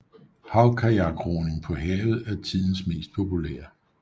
Havkajakroning på havet er tidens mest populære